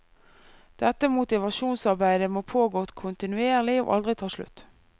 Dette motivasjonsarbeidet må pågå kontinuerlig og aldri ta slutt.